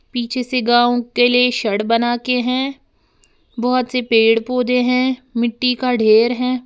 पीछे से गांव के लिए सड़ बना के हैं बहुत से पेड़ पौधे हैं मिट्टी का देर है।